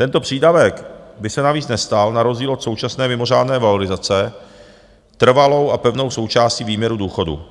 Tento přídavek by se navíc nestal, na rozdíl od současné mimořádné valorizace, trvalou a pevnou součástí výměru důchodu,